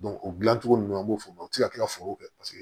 o dilancogo ninnu an b'o fɔ o tɛ se ka kɛ ka foro kɛ paseke